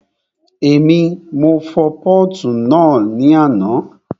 Èmi, mo fọ pọ́ọ̀tù náà ní àná